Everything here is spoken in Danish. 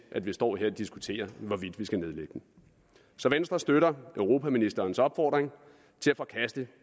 at vi står her og diskuterer hvorvidt vi skal nedlægge den så venstre støtter europaministerens opfordring til at forkaste